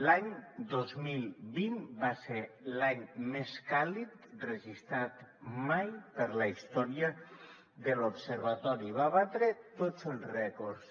l’any dos mil vint va ser l’any més càlid registrat mai per la història de l’observatori va batre tots els rècords